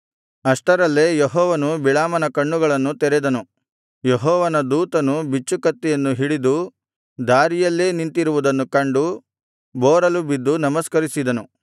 ಅಷ್ಟರಲ್ಲೇ ಯೆಹೋವನು ಬಿಳಾಮನ ಕಣ್ಣುಗಳನ್ನು ತೆರೆದನು ಯೆಹೋವನ ದೂತನು ಬಿಚ್ಚು ಕತ್ತಿಯನ್ನು ಹಿಡಿದು ದಾರಿಯಲ್ಲೇ ನಿಂತಿರುವುದನ್ನು ಕಂಡು ಬೋರಲುಬಿದ್ದು ನಮಸ್ಕರಿಸಿದನು